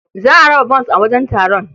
Za a raba bons a wajen taron.